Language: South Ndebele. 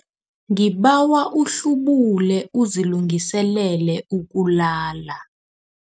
Ngibawa uhlubule uzilungiselele ukulala.